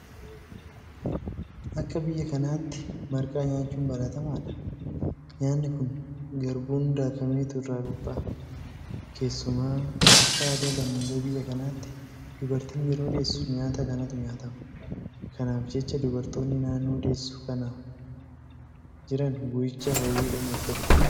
Akka biyya kanaatti marqaa nyaachuun baratamaadha. Nyaanni kun garbuun daakameetu irraa qophaa'a. Keessumaa akka aadaa lammiilee biyya kanaatti dubartiin yeroo deessu nyaata kanatu nyaatama. Kanaaf jecha dubartoonni naannoo deessuu kanaa jiran guyyicha hawwiidhaan eeggatu.